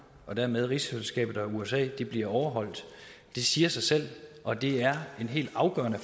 og dermed rigsfællesskabet og usa bliver overholdt det siger sig selv og det er en helt afgørende